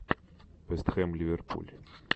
вест хэм ливерпуль